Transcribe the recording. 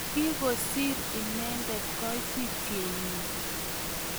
Kigosiir inendet koitityet nenyi